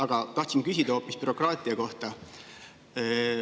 Aga tahtsin küsida hoopis bürokraatia kohta.